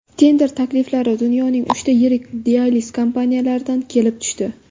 Tender takliflar dunyoning uchta yirik dializ kompaniyalaridan kelib tushdi.